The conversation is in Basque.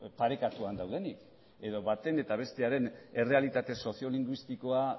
parekatuan daudenik edo baten eta bestearen errealitate sozio linguistikoa